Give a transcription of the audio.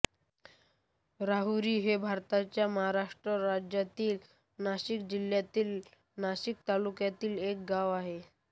राहुरी हे भारताच्या महाराष्ट्र राज्यातील नाशिक जिल्ह्यातील नाशिक तालुक्यातील एक गाव आहे